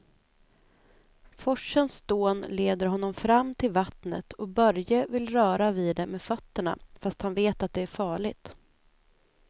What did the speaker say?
Forsens dån leder honom fram till vattnet och Börje vill röra vid det med fötterna, fast han vet att det är farligt.